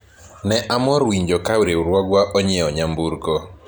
ne amor winjo ka riwruogwa onyiewo nyamburko